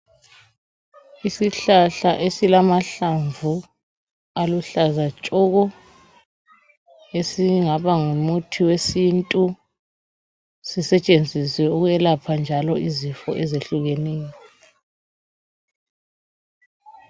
Isihlahla esilamahlamvu aluhlaza tshoko esingaba ngumuthi wesintu sisetshenziswe ukwelapha njalo izifo ezehluleneyo